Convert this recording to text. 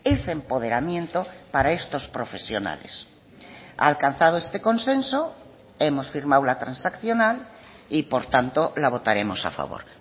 ese empoderamiento para estos profesionales alcanzado este consenso hemos firmado la transaccional y por tanto la votaremos a favor